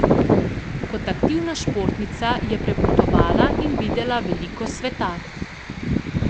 Kot aktivna športnica je prepotovala in videla veliko sveta.